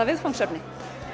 viðfangsefni